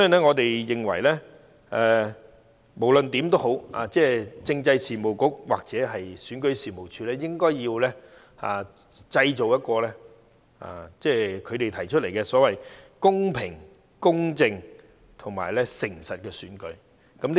我們認為，政制及內地事務局或選舉事務處應該要造就一場其所提出的"公平、公正及誠實的選舉"。